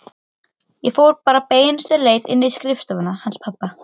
Sá skal væntanlega aðhyllast nýjan sið.